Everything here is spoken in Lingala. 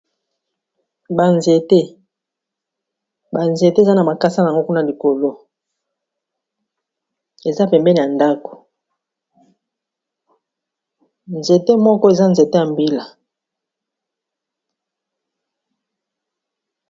banzete banzete eza na makasa n ango kuna likolo eza pembene ya ndako nzete moko eza nzete ya mbila